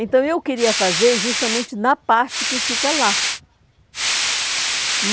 Então, eu queria fazer justamente na parte que fica lá.